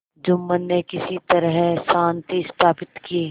जुम्मन ने किसी तरह शांति स्थापित की